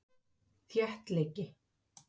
Málið kom víst marflatt upp á karlugluna.